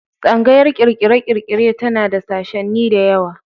Tsangayar ƙirƙire-ƙirƙire tana da sashenni da yawa.